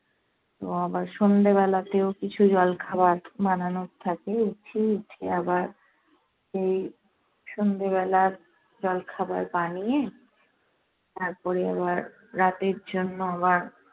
তো আবার সন্ধ্যেবেলাতেও আবার কিছু জলখাবার বানানোর থাকে। উঠি, উঠে আবার সেই সন্ধ্যেবেলার জলখাবার বানিয়ে, তারপরে আবার রাতের জন্য আবার